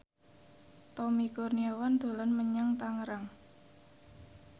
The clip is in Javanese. Tommy Kurniawan dolan menyang Tangerang